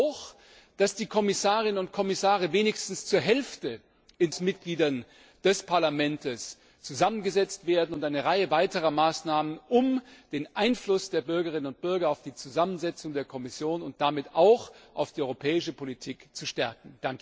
Wir wollen auch, dass die Kommission in Zukunft wenigstens zur Hälfte aus Mitgliedern des Parlaments zusammengesetzt wird, und eine Reihe weiterer Maßnahmen, um den Einfluss der Bürgerinnen und Bürger auf die Zusammensetzung der Kommission und damit auch auf die europäische Politik zu stärken.